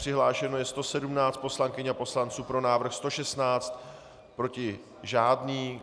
Přihlášeno je 117 poslankyň a poslanců, pro návrh 116, proti žádný.